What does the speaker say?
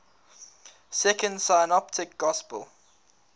second synoptic gospel